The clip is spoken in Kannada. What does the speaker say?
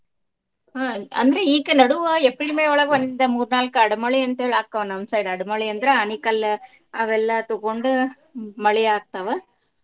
ಹ್ಮ್ ಅಂದ್ರ ಈಗ ನಡುವ April May ಯೊಳಗ್ ಒಂದ್ ಮೂರ್ ನಾಲ್ಕ ಅಡ್ ಮಳಿ ಅಂತ ಹೇಳಿ ಆಕ್ಕಾವ ನಮ್ side . ಅಡ್ ಮಳಿ ಅಂದ್ರ ಆಣಿಕಲ್ಲ ಅವೆಲ್ಲಾ ತಗೊಂಡ್ ಮಳಿ ಆಗ್ತಾವ.